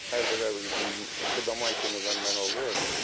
Hər dəfə bu daşik nədəndə nə olur.